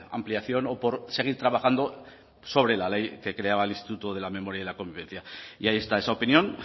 ampliación o por seguir trabajando sobre la ley que creaba el instituto de la memoria y de la convivencia y ahí está esa opinión